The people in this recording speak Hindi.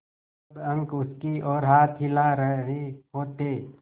सब अंक उसकी ओर हाथ हिला रहे होते